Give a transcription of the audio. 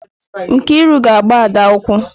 Nkiru ga agba Ada ụkwù.